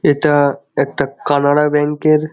এটা-আ একটা কানাড়া ব্যাঙ্ক এর--